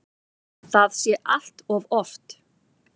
Það sé allt of oft.